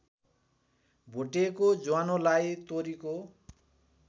भुटेको ज्वानोलाई तोरीको